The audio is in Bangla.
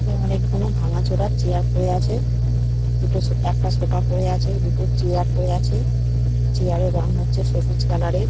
এখানে অনেকগুলো ভাঙা চোরা চেয়ার পরে আছে দুটো একটা সোফা পরে আছেদুটো চেয়ার পরে আছে চেয়ার -এর রং হচ্ছে সবুজ কালার -এর।